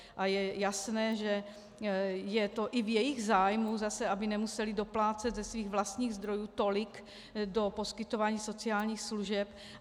A je jasné, že je to i v jejich zájmu zase, aby nemusely doplácet ze svých vlastních zdrojů tolik do poskytování sociálních služeb.